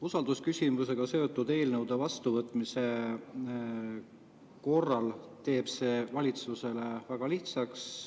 Usaldusküsimusega seotud eelnõude vastuvõtmine teeb valitsuse väga lihtsaks.